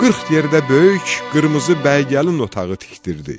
Qırx yerdə böyük qırmızı bəy gəlin otağı tikdirdi.